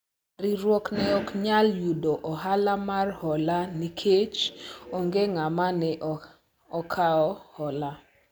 riwruok ne ok nyal yudo ohala mar hola nikech onge ng'ama ne okawo hola